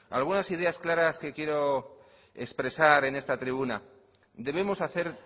algunas ideas claras que quiero expresar en esta tribuna debemos hacer